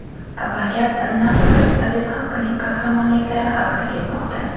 Va gap nafaqat sovet xalqining qahramonliklari haqida ketmoqda.